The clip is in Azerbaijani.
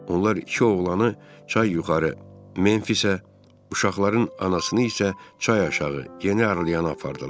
Onlar iki oğlanı çay yuxarı Memfisə, uşaqların anasını isə çay aşağı Yeni Arliyana apardılar.